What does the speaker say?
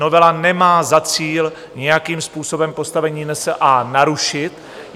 Novela nemá za cíl nějakým způsobem postavení NSA narušit.